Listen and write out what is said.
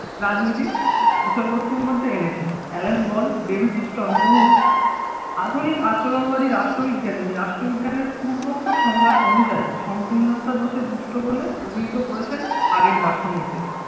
রাজনীতির বিষয়বস্তুর মধ্যে এনেছেন। অ্যালান বল ডেভিড ইস্টন বহু আধুনিক আচরণবাদী রাষ্ট্রবিজ্ঞানী রাষ্ট্রবিজ্ঞানের পূর্বোক্ত সংজ্ঞা অনুযায়ী সংকীর্ণতা দোষে দুষ্ট বলে অভিহিত করেছেন। আগের দার্শনিকদের